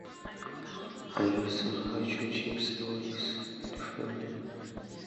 алиса хочу чипсы лейс рифленые